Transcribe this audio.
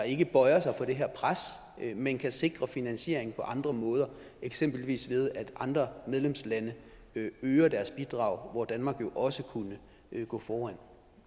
ikke bøjer sig for det her pres men kan sikre finansiering på andre måder eksempelvis ved at andre medlemslande øger deres bidrag hvor danmark jo også kunne gå foran